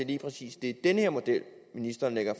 lige præcis er den her model ministeren lægger